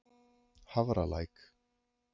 Hafralæk